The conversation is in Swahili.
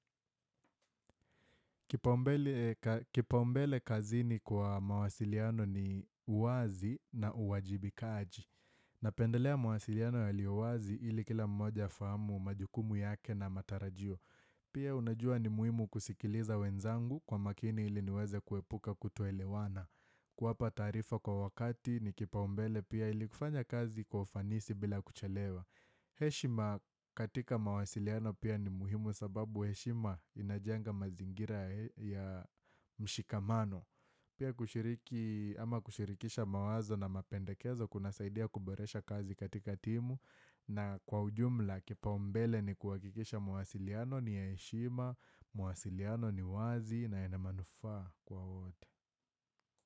Kipaumbele kazi ni kwa mawasiliano ni uwazi na uwajibikaaji. Napendelea mawasiliano ya uwazi ili kila mmoja afahamu majukumu yake na matarajio. Pia unajua ni muhimu kusikiliza wenzangu kwa makini ili niweze kuepuka kutoelewana. Kuapa taarifa kwa wakati ni kipaumbele pia ili kufanya kazi kwa ufanisi bila kuchelewa. He shima katika mawasiliano pia ni muhimu sababu he shima inajanga mazingira ya mshikamano Pia kushiriki ama kushirikisha mawazo na mapendekezo kuna saidia kuboresha kazi katika timu na kwa ujumla kipa umbele ni kuwakikisha mawasiliano ni he shima, mawasiliano ni wazi na ene manuaa kwa wote.